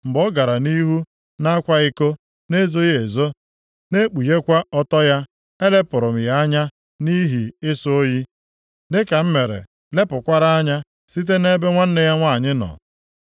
Mgbe ọ gara nʼihu na-akwa iko nʼezoghị ezo na-ekpughekwa ọtọ ya, elepụrụ m ya anya nʼihi ịsọ oyi, dịka m mere lepụkwara anya site nʼebe nwanne ya nwanyị nọ.